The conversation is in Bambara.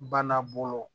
Bana bolo